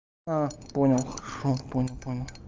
а понял хорошо понял понял